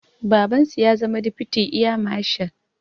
Babansu ya zama difiti eya mashal